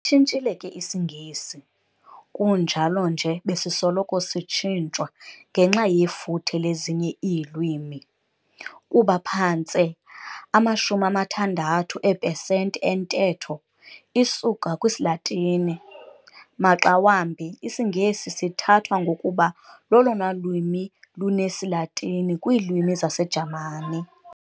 Sitshintshile ke isiNgesi, kunjalo nje besisoloko sitshintshwa ngenxa yefuthe lezinye iilwimi. Kuba phantse ama-60 eepesenti entetho isuka kwisiLatini, maxa wambi isiNgesi sithathwa ngokuba lolona lwimi lunesiLatini kwiilwimi zaseJamani.